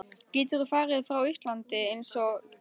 Geturðu farið frá Íslandi einsog ekkert sé?